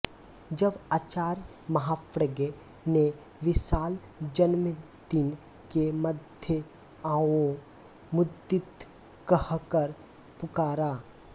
जब आचार्य महाप्रज्ञ ने विशाल जनमेदिनी के मध्यआओ मुदितकहकर पुकारा